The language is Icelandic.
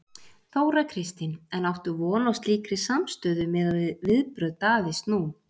Þóra Kristín: En áttu von á slíkri samstöðu miðað við viðbrögð Davíðs nú?